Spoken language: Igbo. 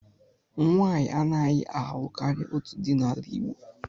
Nwanyị anaghị alụ karịa otu di n'ala Igbo.